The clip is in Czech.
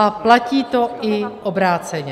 A platí to i obráceně.